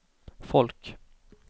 folk